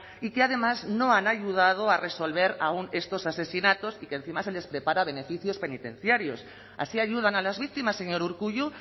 y que además no han ayudado a resolver estos asesinatos y que encima se les prepara beneficios penitenciarios así ayudan a las víctimas señor urkullu